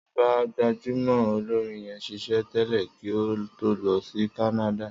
Sọjí ń bá gbajúmọ̀ olórin yẹn ṣiṣẹ́ tẹ̀lé kí ó tó lọ sí Kánádà